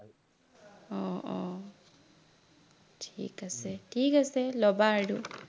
অ অ ঠিক আছে ঠিক আছে, লবা আৰু